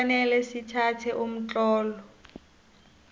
kufanele sithathe umtlolo